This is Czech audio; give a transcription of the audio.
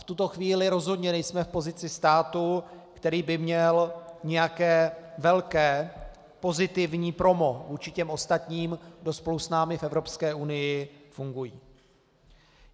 V tuto chvíli rozhodně nejsme v pozici státu, který by měl nějaké velké pozitivní promo vůči těm ostatním, kdo spolu s námi v Evropské unii fungují.